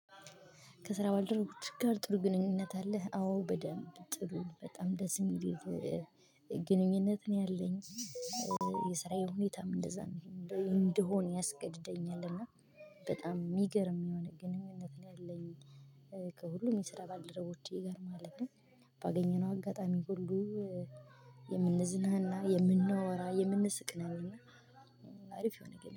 ከስራ ባልደረቦችህ ጋር ጥሩ ግንኙነት አለህ አዎ በደንብ ጥሩ በጣም ደስ የሚል ግንኙነት ነው ያለኝ። የስራዬ ሁኔታም እንደዛ እንድሆን ያስገድደኛል እና በጣም የሚገርም የሆነ ግንኙነት ላይ ያለኝ ከሁሉም የስራ ባልደረቦቼ ጋር ማለት ነው። ባገኘነው አጋጣሚ ሁሉ የምንዝናና የምናወራ የምንስቅ ነን እና አሪፍ የሆነ